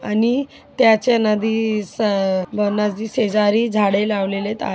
आणि त्याच्या नदी स अ अ नदी शेजारी सर्व झाडे लावलेलेत आ --